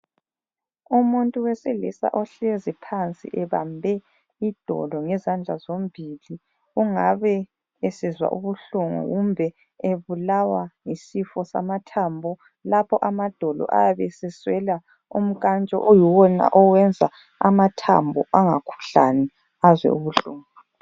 Umuntu wesilisa ohlezi phansi ebambe idolo ngezandla zombili. Kungabe esizwa ubuhlungu kumbe ebulawa yisifo samathambo, lapho amadolo ayabe seswela umnkantsho oyiwona owenza amathambo angakhuhlani azwe ubuhlungu.